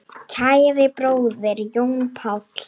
Kæri bróðir, Jón Páll.